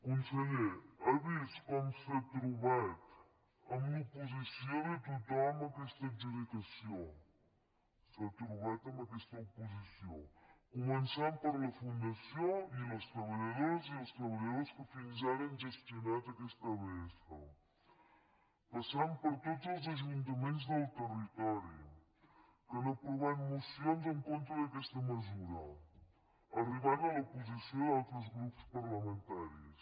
conseller ha vist com s’ha trobat amb l’oposició de tothom a aquesta adjudicació s’ha trobat amb aquesta oposició començant per la fundació i les treballadores i els treballadors que fins ara han gestionat aquesta abs passant per tots els ajuntaments del territori que han aprovat mocions en contra d’aquesta mesura arribant a l’oposició d’altres grups parlamentaris